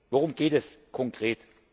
Worum geht es konkret?